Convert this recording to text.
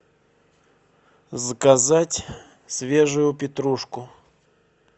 заказать свежую петрушку